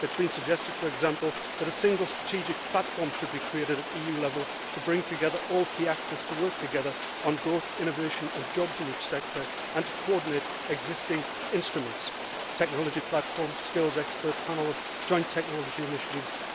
It has been suggested, for example, that a single strategic platform should be created at a level to bring together all key actors to work together on growth, innovation and jobs in each sector and to coordinate existing instruments such as technology platforms, skills expert panels and joint technology initiatives.